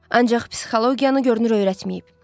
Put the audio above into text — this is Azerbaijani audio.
Ancaq psixologiyanı görünür öyrətməyib.